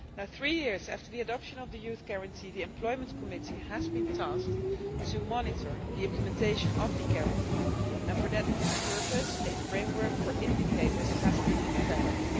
Three years after the adoption of the Youth Guarantee, the Employment Committee has been tasked with monitoring the implementation of the Guarantee and for that purpose a framework for indicators has been developed.